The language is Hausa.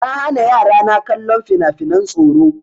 Na hana yara na kallon fina-finan tsoro.